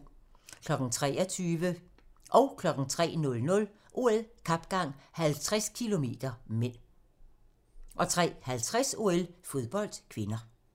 23:00: OL: Kapgang, 50 km (m) 03:00: OL: Kapgang 50 km (m) 03:50: OL: Fodbold (k)